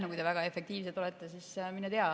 No kui te väga efektiivsed olete, siis mine tea.